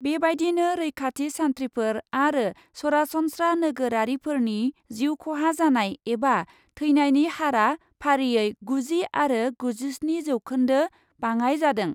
बेबायदिनो रैखाथि सान्थ्रिफोर आरो सरासनस्रा नोगोरारिफोरनि जिउ ख'हा जानाय एबा थैनायनि हारआ फारियै गुजि आरो गुजिस्नि जौखोन्दो बाङाइ जादों ।